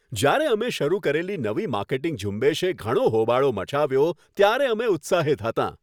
જ્યારે અમે શરૂ કરેલી નવી માર્કેટિંગ ઝુંબેશએ ઘણો હોબાળો મચાવ્યો, ત્યારે અમે ઉત્સાહિત હતાં.